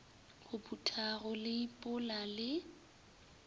go phutha go leipola le